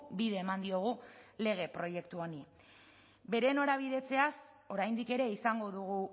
bide eman diogu lege proiektu honi bere norabidetzeaz oraindik ere izango dugu